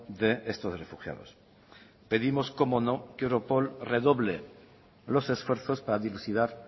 de estos refugiados pedimos cómo no que europol redoble los esfuerzos para dilucidar